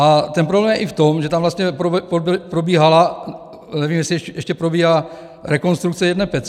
A ten problém je i v tom, že tam vlastně probíhala, nevím, jestli ještě probíhá, rekonstrukce jedné pece.